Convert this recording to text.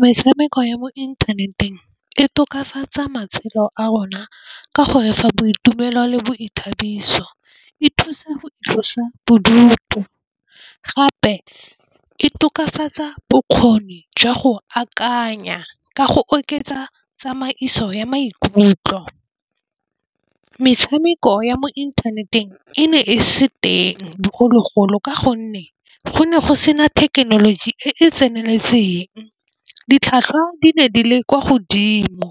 Metshameko ya mo inthaneteng e tokafatsa matshelo a rona ka gore fa boitumelo le boithabiso. E thusa boitlosobodutu gape e tokafatsa bokgoni jwa go akanya ka go oketsa tsamaiso ya maikutlo. Metshameko ya mo inthaneteng e ne e se teng bogologolo ka gonne go ne go sena thekenoloji e e tseneletseng. Ditlhwatlhwa di ne di le kwa godimo